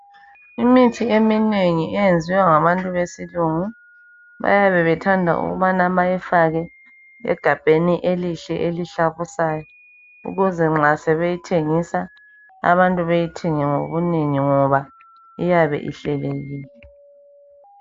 Imithi eminengi eyenziwe ngabantu besilungu bayabe bethanda ukubana bayifake egabheni elihle elihlabusayo ukuze nxa sebeyithengisa abantu beyithenge ngobunengi ngoba iyabe ihlelekile